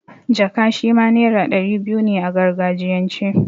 Jaka' shima naira ɗari biyu ne a gargajiyan ce.